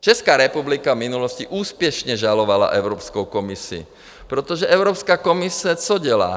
Česká republika v minulosti úspěšně žalovala Evropskou komisi, protože Evropská komise - co dělá?